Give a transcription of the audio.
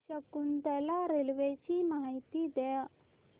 Shakuntala railway ची माहिती द्या